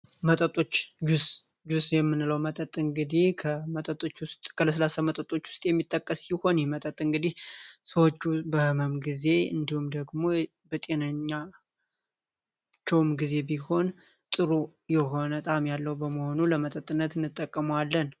መጠጦች ጁስ ጅብ እንግዲህ ከለስላሳ መጠጦች ውስጥ የሚመደብ ሲሆን በህመም ጊዜ እንዲሁም ደግሞ በጤነኝነት ጊዜም ጥሩ የሆነ ጣእም ያለው በመሆኑ ለመጠጥነት እንጠቀመዋለን።